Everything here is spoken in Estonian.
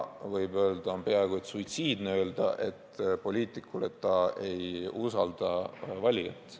Võib öelda, et poliitikul on peaaegu suitsiidne öelda, et ta ei usalda valijat.